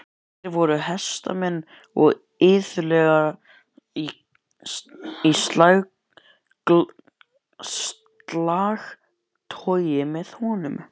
Þeir voru hestamenn og iðulega í slagtogi með honum.